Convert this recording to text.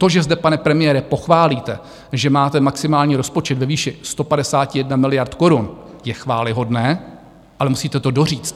To, že zde pane premiére pochválíte, že máte maximální rozpočet ve výši 151 miliard korun, je chvályhodné, ale musíte to doříct.